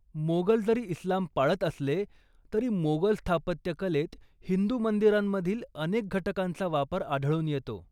मोगल जरी इस्लाम पाळत असले तरी, मोगल स्थापत्यकलेत हिंदू मंदिरांमधील अनेक घटकांचा वापर आढळून येतो.